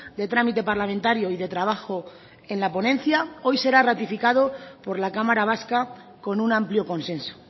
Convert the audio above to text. de trámite parlamentario y de trabajo en la ponencia hoy será ratificado por la cámara vasca con un amplio consenso